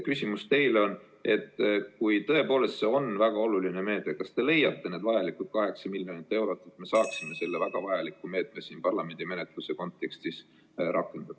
Küsimus teile on järgmine: kui see tõepoolest on väga oluline meede, siis kas te leiaksite need vajalikud 8 miljonit eurot, et me saaksime selle väga vajaliku meetme siin parlamendi menetluse käigus kinnitada?